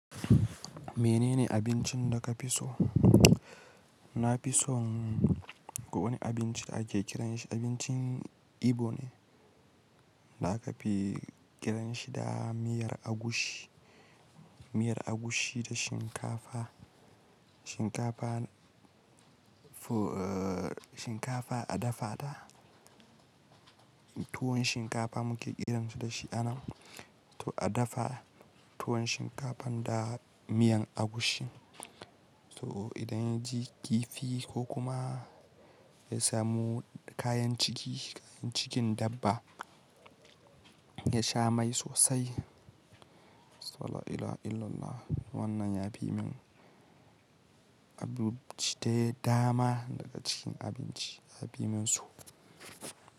Mene ne abincin da ka fi so? Na fi son wani abinci ake kiran shi abincin Igbo ne, da aka fi kiran shi da miyar agushi. Miyar agushi da shinkafa, shinkafa a dafa ta. Tuwon shinkafa muke kiran shi da shi a nan. A dafa tuwon shinkafan da miyan agushin. To idan ya ji kifi ko kuma ya samu kayan ciki, kayan cikin dabba, ya sha mai sosai. La ila illallah. Wannan ya fi min abinci dai dama daga cikin abinci, ya bi min so.